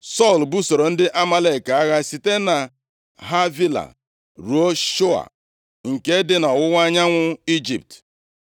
Sọl busoro ndị Amalek agha site na Havila ruo Shua, nke dị nʼọwụwa anyanwụ Ijipt.